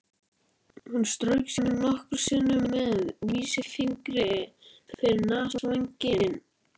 Hann strauk sér nokkrum sinnum með vísifingri yfir nasavænginn.